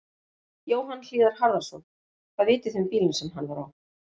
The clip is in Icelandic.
Jóhann Hlíðar Harðarson: Hvað vitið þið um bílinn sem hann var á?